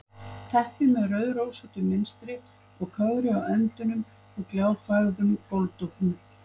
Teppi með rauðrósóttu munstri og kögri á endunum á gljáfægðum gólfdúknum.